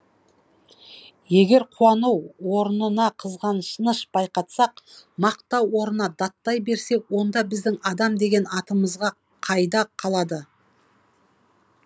егер қуану орнына қызғаныш байқатсақ мақтау орнына даттай берсек онда біздің адам деген атымыз қайда қалады